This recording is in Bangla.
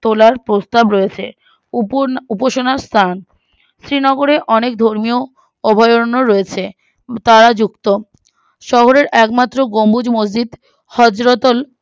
তোলার প্রস্তাব রয়েছে উপ না উপাসনার স্ত্রান শ্রীনগরে অনেক ধর্মীয় অভ্যারণ রয়েছে তারাযুক্ত শহরের একমাত্র গম্বুজ মসজিদ হজরতল